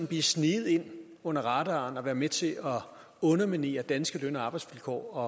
blive sneget ind under radaren og være med til at underminere danske løn og arbejdsvilkår og